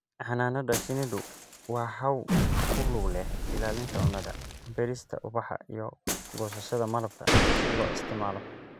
Xannaanada shinnidu waa hawl ku lug leh ilaalinta cunnada, beerista ubaxa iyo goosashada malabka si loo isticmaalo.